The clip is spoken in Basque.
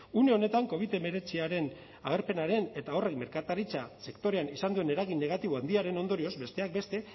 une honetan covid hemeretziaren agerpenaren eta horrek merkataritza sektorean izan duen eragin negatiboa handiaren ondorioz besteak beste